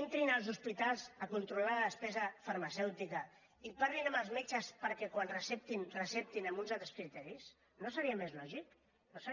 entrin en es hospitals a controlar la despesa farmacèutica i parlin amb els metges perquè quan receptin receptin amb uns altres criteris no seria més lògic no seria